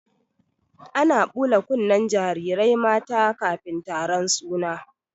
Ana ɓula kunnen jarirai mata kafin taron suna.